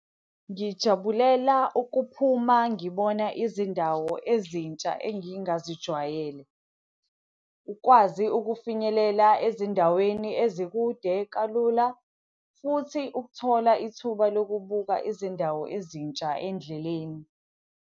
Ngijabulela ukuphuma ngibona izindawo ezintsha engingazijwayele, ukwazi ukufinyelela ezindaweni ezikude kalula, futhi ukuthola ithuba lokubuka izindawo ezintsha endleleni.